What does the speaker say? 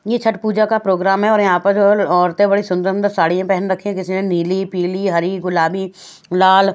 ये छठ पूजा का प्रोग्राम है और यहां पर औरतें बड़ी सुंदर सुंदर साड़ियां पहन रखी हैं जिसमें नीली पीली हरी गुलाबी लाल--